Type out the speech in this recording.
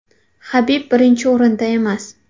Habib birinchi o‘rinda emas.